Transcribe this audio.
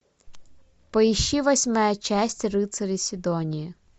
поищи восьмая часть рыцари сидонии